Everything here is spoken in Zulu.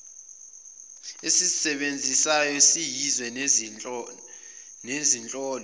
esizisebenzisayo siyizwe nezinhlolo